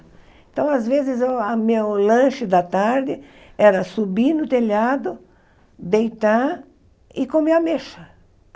Então, às vezes, a meu lanche da tarde era subir no telhado, deitar e comer ameixa.